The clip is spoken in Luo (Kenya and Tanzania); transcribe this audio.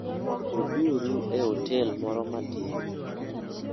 Beduru e otel moro matin.